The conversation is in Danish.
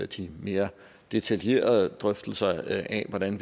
de mere detaljerede drøftelser af hvordan